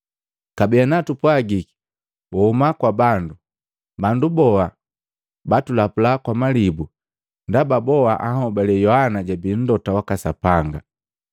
Kabee ana tupwagiki wahuma kwa bandu, bandu boa batulapula kwa malibu, ndaba boa anhobali Yohana jabii mlota waka Sapanga!